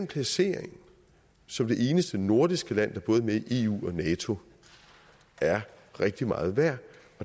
placering som det eneste nordiske land der både er med i eu og nato rigtig meget værd